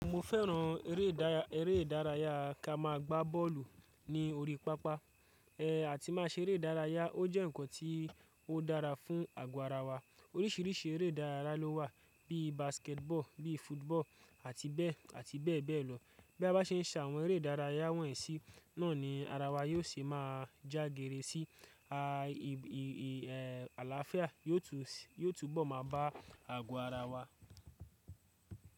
Mo fẹ́ràn eré idara-- ere ìdárayá ká má a gbá bọ́ọ̀lù ní orí pápá. Ẹ̀, àti má a ṣeré ìdárayá, ó jẹ́ nǹkan tí ó dára fún àgọ́ ara wa. Oríṣìíríṣìí eré ìdárayá ló wà bíi basketball, bíi football àti bẹ́ẹ̀ àti bẹ́ẹ̀ bẹ́ẹ̀ lọ. Bí a bá ṣe ń se àwọn eré ìdárayá wọ̀nyí sí, náà ni ara wa yóò ṣe má a jágéré sí, ì ì ì àlàáfíà yóò tu s--yoo túbọ̀ má a bá àgọ́ ara wa.